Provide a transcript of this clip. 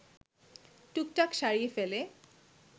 টুকটাক’ সারিয়ে ফেলে